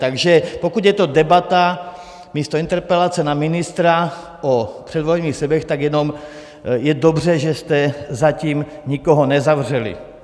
Takže pokud je to debata místo interpelace na ministra o předvolebních slibech, tak jenom je dobře, že jste zatím nikoho nezavřeli.